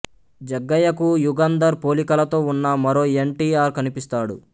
జగ్గయ్యకు యుగంధర్ పోలికలతో ఉన్న మరో ఎన్ టి ఆర్ కనిపిస్తాడు